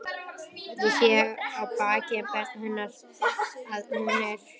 Ég sé á baki hennar að hún er hrygg.